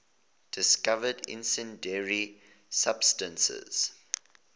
discovered incendiary substance